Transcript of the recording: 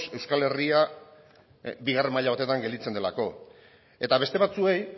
euskal herria bigarren maila batetan gelditzen delako eta beste batzuei